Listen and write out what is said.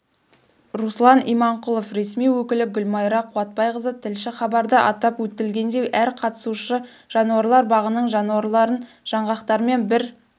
руслан иманқұлов ресми өкілі гүлмайра қуатбайқызы тілші хабарда атап өтілгендей әр қатысушы жануарлар бағының жануарларынжаңғақтармен бір